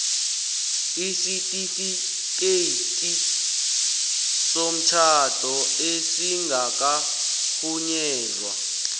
isitifikhethi somtjhado esingakarhunyezwa